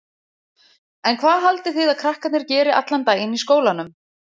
En hvað haldið þið að krakkarnir geri allan daginn í skólanum?